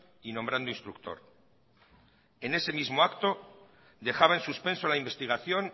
y nombrando instructor en ese mismo acto dejaba en suspenso la investigación